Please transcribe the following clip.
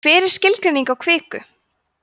hver er skilgreining á kviku